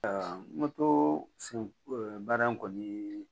baara in kɔni